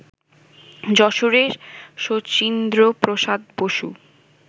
যশোরের শচীন্দ্রপ্রসাদ বসু